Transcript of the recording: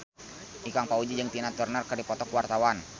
Ikang Fawzi jeung Tina Turner keur dipoto ku wartawan